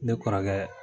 Ne kɔrɔkɛ